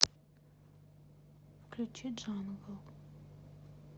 включи джангл